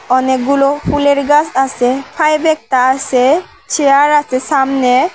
অনেকগুলো ফুলের গাস আছে সাইডে একটা আসে চেয়ার আছে সামনে।